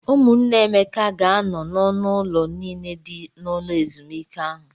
Ụmụnne Emeka ga-anọ n'ọnụ ụlọ niile dị n'ụlọ ezumike ahụ.